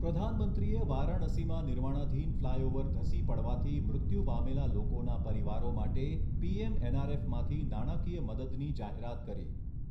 પ્રધાનમંત્રીએ વારાણસીમાં નિર્માણાધીન ફ્લાયઓવર ધસી પડવાથી મૃત્યુ પામેલા લોકોના પરિવારો માટે પીએમએનઆરએફમાંથી નાણાકીય મદદની જાહેરાત કરી